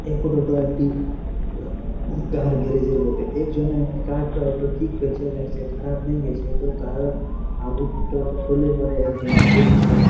এ photo -টো একটি car garage -এর বটে এর জন্য কার ঠিক করছে লাগছে খারাপ হয়ে গেছে খুলে পরে একজনা দেখছে।